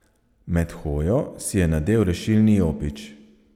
Med hojo si je nadel rešilni jopič.